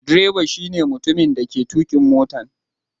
Direba shine mutumin dake tukin motan.